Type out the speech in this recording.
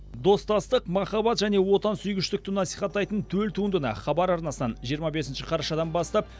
достастық махаббат және отансүйгіштікті насихаттайтын төл туындыны хабар арнасынан жиырма бесінші қарашадан бастап